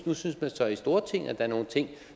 nu synes man så i stortinget at er nogle ting